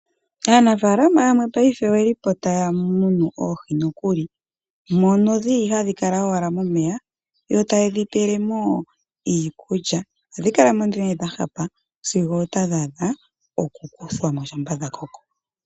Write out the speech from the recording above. Aanafaalama yamwe paife oye li po taya munu oohi nokuli. Mono hadhi kala owala momeya yo taye dhi pele mo iikulya. Ohadhi kala nduno dha hapa sigo otadhi adha okukuthwa mo shampa dha koko.